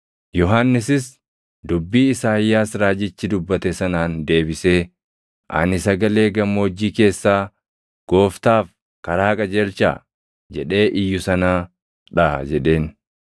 Yohannisis dubbii Isaayyaas raajichi dubbate sanaan deebisee, “Ani sagalee gammoojjii keessaa, ‘Gooftaaf karaa qajeelchaa’ + 1:23 \+xt Isa 40:3\+xt* jedhee iyyu sanaa dha” jedheen.